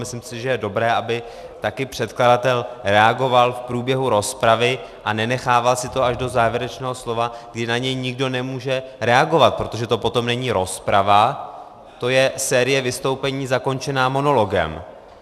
Myslím si, že je dobré, aby také předkladatel reagoval v průběhu rozpravy a nenechával si to až do závěrečného slova, kdy na něj nikdo nemůže reagovat, protože to potom není rozprava, to je série vystoupení zakončená monologem.